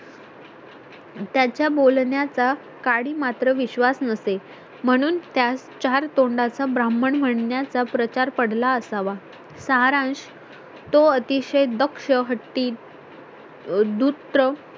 त्याच्या बोलण्याचा काडी मात्र विश्वास नसे म्हणून त्यास चार तोंडाचा ब्राह्मण म्हणण्याचा प्रचार पडला असावा सारांश तो अतिशय दक्ष हट्टी दुत्र